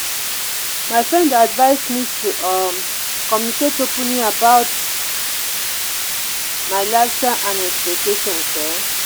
my friend dey advise me to um communicate openly about my lifestyle and expectations. um